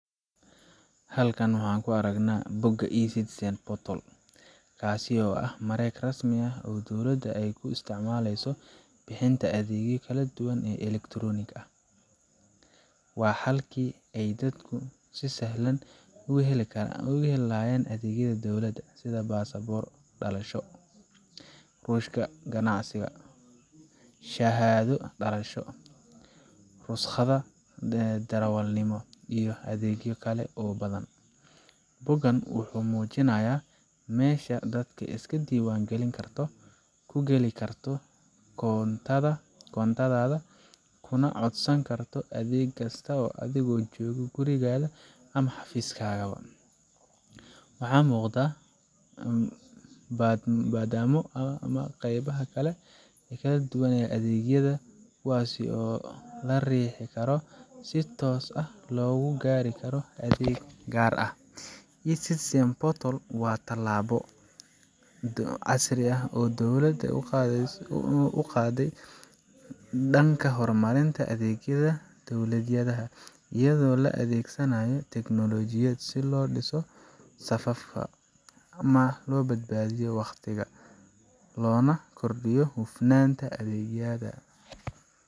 Halkan waxa aan ku aragnaa bogga eCitizen portal, kaas oo ah mareeg rasmi ah oo dowladda ay u isticmaasho bixinta adeegyo kala duwan oo elektaroonik ah. Waa halkii ay dadku si sahlan uga heli lahaayeen adeegyada dowladda sida baasaboor dalbasho, rukhsad ganacsi, shahaado dhalasho, rukhsadda darawalnimo, iyo adeegyo kale oo badan. Boggan wuxuu muujinayaa meesha aad iska diiwaan gelin karto, ku gali karto koontadaada, kuna codsan karto adeeg kasta adigoo jooga gurigaaga ama xafiiskaaga. Waxaa muuqda badhamo ama qaybaha kala duwan ee adeegyada, kuwaas oo la riixi karo si toos ah loogu gaaro adeeg gaar ah. eCitizen portal waa tallaabo casri ah oo dowladda u qaaday dhanka horumarinta adeegyada dadweynaha, iyadoo la adeegsanayo teknoolojiyad si loo dhiso safafka, loo badbaadiyo waqti, loona kordhiyo hufnaanta adeegyada.